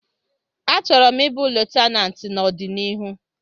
Achọrọ m ịbụ Lutenat n'ọdịnihu